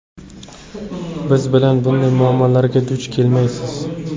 Biz bilan bunday muammolarga duch kelmaysiz.